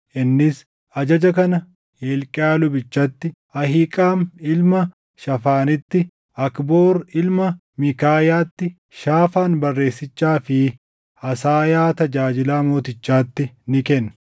Innis ajaja kana Hilqiyaa lubichatti, Ahiiqaam ilma Shaafaanitti, Akboor ilma Miikaayaatti, Shaafaan barreessichaa fi Asaayaa tajaajilaa mootichaatti ni kenne;